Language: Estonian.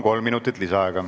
Kolm minutit lisaaega.